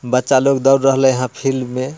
बच्चा लोग दौड़ रहेले है फील्ड मे।